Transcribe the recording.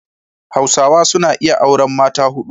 Hausawa suna iya auran mata hudu.